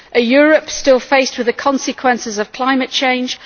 a Europe still faced with the consequences of climate change